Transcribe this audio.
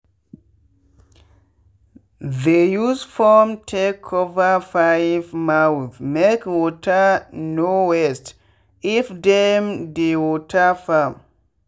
they use foam take cover pipe mouthmake water no wasteif dem dey water farm.